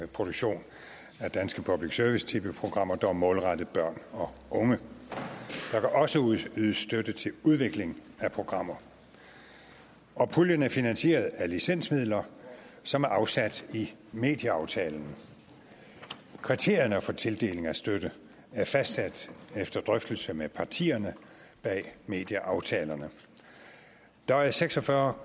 produktion af danske public service tv programmer der er målrettet børn og unge der kan også ydes støtte til udvikling af programmer og puljen er finansieret af licensmidler som er afsat i medieaftalen kriterierne for tildeling af støtte er fastsat efter drøftelse med partierne bag medieaftalerne der er seks og fyrre